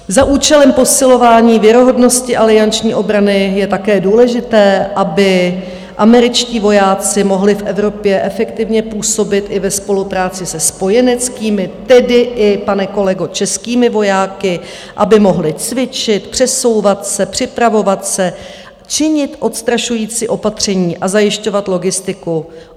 Za účelem posilování věrohodnosti alianční obrany je také důležité, aby američtí vojáci mohli v Evropě efektivně působit i ve spolupráci se spojeneckými, tedy i, pane kolego, českými vojáky, aby mohli cvičit, přesouvat se, připravovat se, činit odstrašující opatření a zajišťovat logistiku.